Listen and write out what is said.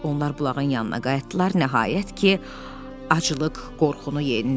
Onlar bulağın yanına qayıtdılar, nəhayət ki, aclıq qorxunu yendi.